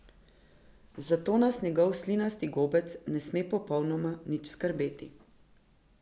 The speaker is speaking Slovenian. Zato nas njegov slinasti gobec ne sme popolnoma nič skrbeti.